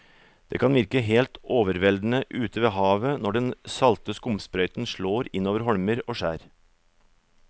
Det kan virke helt overveldende ute ved havet når den salte skumsprøyten slår innover holmer og skjær.